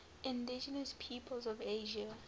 indigenous peoples of asia